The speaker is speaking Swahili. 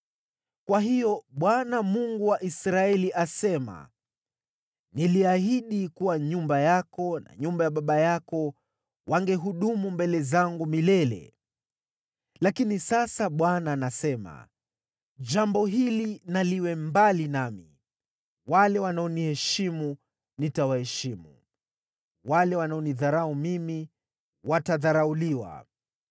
“Kwa hiyo, Bwana , Mungu wa Israeli asema: ‘Niliahidi kuwa nyumba yako na nyumba ya baba yako wangehudumu mbele zangu milele.’ Lakini sasa Bwana anasema: ‘Jambo hili na liwe mbali nami! Wale wanaoniheshimu nitawaheshimu, wale wanaonidharau mimi watadharauliwa.